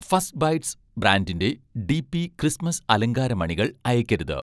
first bites' ബ്രാൻഡിന്‍റെ DP Christmas അലങ്കാര മണികൾ അയയ്‌ക്കരുത്